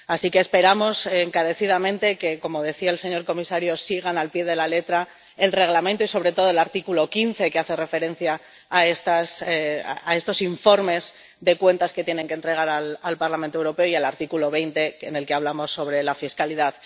Así que esperamos encarecidamente que, como decía el señor comisario, sigan al pie de la letra el Reglamento y, sobre todo, el artículo 15, que hace referencia a estos informes de cuentas que tienen que entregar al Parlamento Europeo, y el artículo 20, en el que hablamos sobre la fiscalidad.